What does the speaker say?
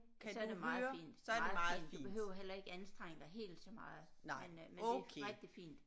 Så er det meget fint meget fint du behøver heller ikke anstrenge dig helt så meget men øh men det er rigtig fint